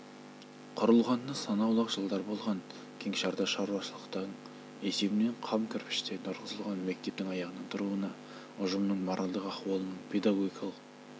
құрылғанына санаулы-ақ жылдар болған кеңшарда шаруашылықтың есебінен қам кірпіштен тұрғызылған мектептің аяғынан тұруына ұжымның моральдық ахуалының педагогикалық